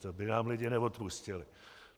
To by nám lidé neodpustili.